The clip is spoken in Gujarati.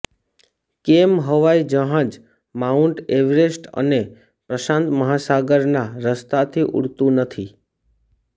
કેમ હવાઈ જહાજ માઉન્ટ એવરેસ્ટ અને પ્રશાંત મહાસાગરના રસ્તાથી ઉડતું નથી